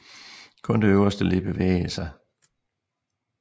Kun det øverste led bevægede sig